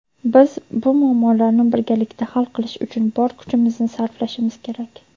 biz bu muammolarni birgalikda hal qilish uchun bor kuchimizni sarflashimiz kerak.